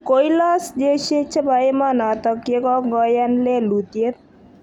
Koilos jeshi che bo emonotok ye kongoyan lelutiet.